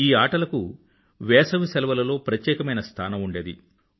ఈ ఆటలకు వేసవి సెలవులలో ప్రత్యేకమైన స్థానం ఉండేది